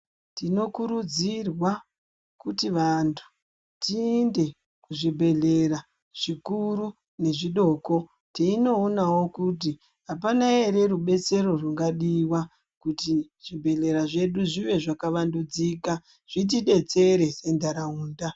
Tino kurudzirwa kuti vantu tiinde ku zvibhedhlera zvikuru nge zvidoko teinoonawo kuti apana ere rubetsero rungadiwa kuti zvibhedhlera zvedu zvive zvaka wandudzika zviti detsere se ndaraunda.